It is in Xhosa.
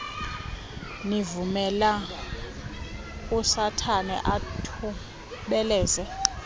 nivumela usathana athubeleze